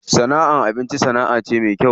Sana'ar abinci sana'a ce me kyau.